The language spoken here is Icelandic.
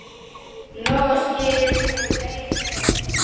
Nú skilur leiðir.